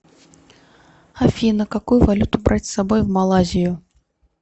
афина какую валюту брать с собой в малайзию